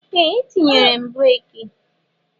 Ee! Etinyere m breeki.